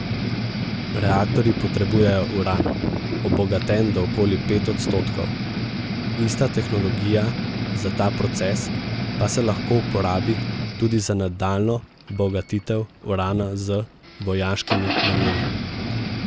Reaktorji potrebujejo uran, obogaten do okoli pet odstotkov, ista tehnologija za ta proces pa se lahko uporabi tudi za nadaljnjo bogatitev urana z vojaškimi nameni.